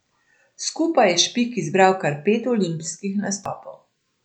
Skupaj je Špik zbral kar pet olimpijskih nastopov.